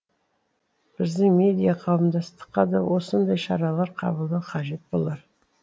біздің медиа қауымдастыққа да осындай шаралар қабылдау қажет болар